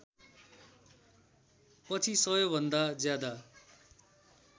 पछि सबैभन्दा ज्यादा